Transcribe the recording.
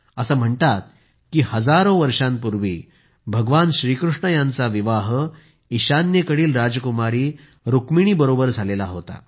असं म्हणतात की हजारों वर्षांपूर्वी श्री कृष्ण यांचा विवाह ईशान्येकडील राजकुमारी रूक्मिणीबरोबर झाला होता